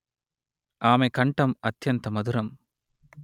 అమె కంఠం అత్యంత మధురం